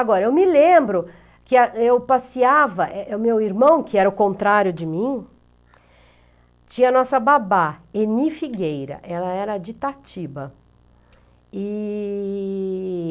Agora, eu me lembro que é eu passeava, o meu irmão, que era o contrário de mim, tinha a nossa babá, Eni Figueira, ela era de Itatiba. E...